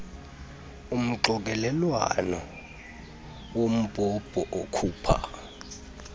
umxokelelwano wombhobho okhupha